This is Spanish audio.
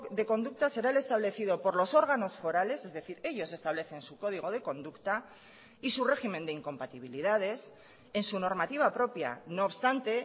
de conductas será el establecido por los órganos forales es decir ellos establecen su código de conducta y su régimen de incompatibilidades en su normativa propia no obstante